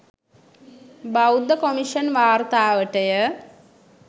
බෞද්ධ කොමිෂන් වාර්තාවටය